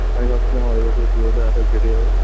আমি ভাবছিলাম আমার এ বছর পুজোটা একাই কেটে যাবে